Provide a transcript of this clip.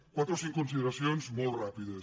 quatre o cinc consideracions molt ràpides